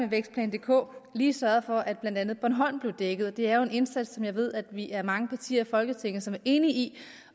vækstplan dk lige sørget for at blandt andet bornholm blev dækket det er jo en indsats som jeg ved at vi er mange partier i folketinget som er enige i